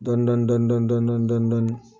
Dɔni dɔni dɔni dɔni dɔni dɔni